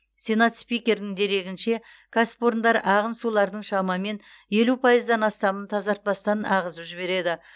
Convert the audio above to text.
сенат спикерінің дерегінше кәсіпорындар ағын сулардың шамамен елу пайыздан астамын тазартпастан ағызып жібереді